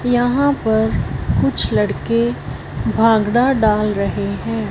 यहां पर कुछ लड़के भांगड़ा डाल रहे हैं।